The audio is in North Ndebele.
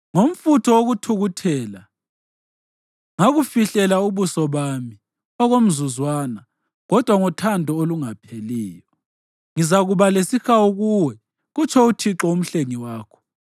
Ngomfutho wokuthukuthela, ngakufihlela ubuso bami okomzuzwana, kodwa ngothando olungapheliyo, ngizakuba lesihawu kuwe,” kutsho uThixo uMhlengi wakho.